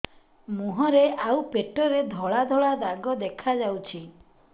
ମୁହଁରେ ଆଉ ପେଟରେ ଧଳା ଧଳା ଦାଗ ଦେଖାଯାଉଛି